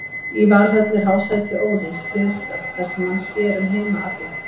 Í Valhöll er hásæti Óðins, Hliðskjálf, þar sem hann sér um heima alla.